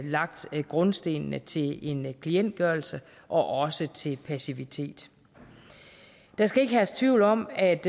lagt grundstenen til en klientgørelse og også til passivitet der skal ikke herske tvivl om at